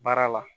Baara la